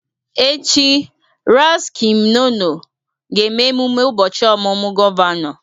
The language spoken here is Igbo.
Echi, Ras Kimono ga-eme emume ụbọchị ọmụmụ gọvanọ